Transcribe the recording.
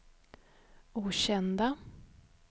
okända